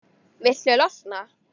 Viltu losna-?